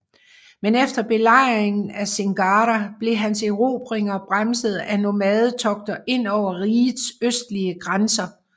Men efter belejringen af Singara blev hans erobringer bremset af nomadetogter ind over rigets østlige grænser